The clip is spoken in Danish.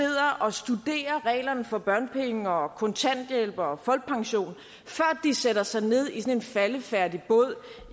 og studerer reglerne for børnepenge og kontanthjælp og folkepension før de sætter sig ned i en faldefærdig båd